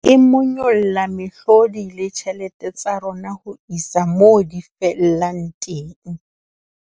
E monyolla mehlodi le ditjhelete tsa rona ho isa moo di fellang teng.